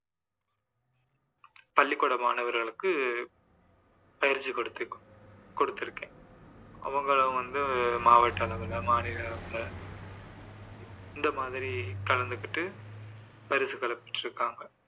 பள்ளிகூட மாணவர்களுக்கு பயிற்சி கொடுத்~ கொடுத்திருக்கேன் அவங்க வந்து மாவட்ட அளவில மாநில அளவில இந்த மாதிரி கலந்துகிட்டு பரிசுகளை பெற்றிருக்காங்க